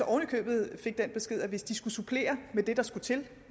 oven i købet den besked at hvis de skulle supplere med det der skulle til